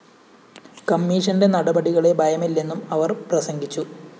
കമ്മീഷന്റെ നടപടികളെ ഭയമില്ലെന്നും അവര്‍ പ്രസംഗിച്ചു